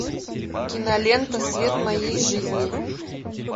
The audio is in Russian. кинолента свет моей жизни